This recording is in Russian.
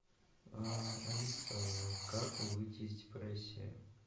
алиса как выйти из депрессии